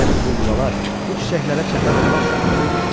Elə bil bu yuvalar bu çiçəklərə çəpər olmaq üçün hörülmüşdü.